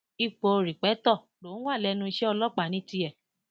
ipò rípẹtọ lòún wà lẹnu iṣẹ ọlọpàá ní tiẹ